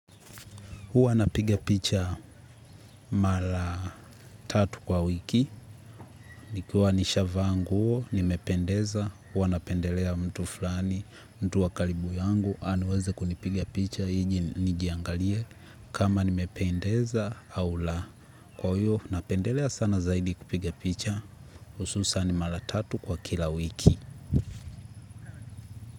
Huwa napiga picha mara tatu kwa wiki, nikiwa nishaavaa nguo, nimependeza, huwa napendelea mtu fulani, mtu wa karibu yangu, aniweze kunipiga picha, ili nijiangalie, kama nimependeza au la. Kwa huo, napendelea sana zaidi kupiga picha, hususan mara tatu kwa kila wiki.